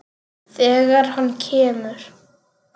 Þegar hann kemur.